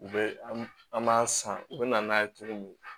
U bɛ an b'a san u bɛ na n'a ye cogo min